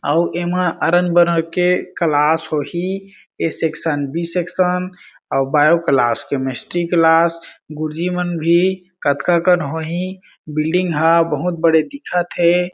अउ ऐ मा अरण बरन के क्लास होहि ए सेक्शन बी सेक्शन आऊ बायो क्लास केमिस्ट्री क्लास गुरु जी मन भी कतका कन होहि बिल्डिंग हा बहुत बड़े दिखत हें।